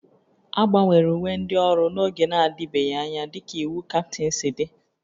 A gbanwere uwe ndị ọrụ n'oge na-adịbeghị anya dịka iwu Captain si dị